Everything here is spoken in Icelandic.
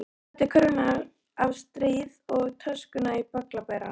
Hann setti körfuna á stýrið og töskuna á bögglaberann.